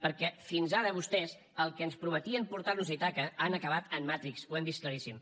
perquè fins ara vostès els que ens prometien portar nos a ítaca han acabat a matrix ho hem vist claríssim